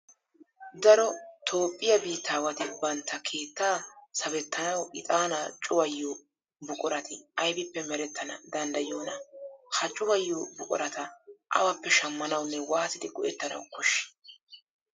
Daro toophphiya biittaawati bantta Keettaa sawettanawu ixaanaa cuwayiyo buqurati aybippe merettana danddayiyoonaa? Ha cuwayiyo buqurata awappe shammanawunne waatidi go"ettanawu koshshii?